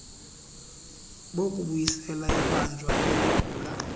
bokubuyisela ibanjwa eligula